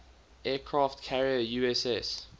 aircraft carrier uss